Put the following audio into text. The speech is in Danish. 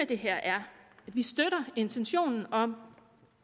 det her er at vi støtter intentionen om